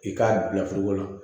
I k'a bila la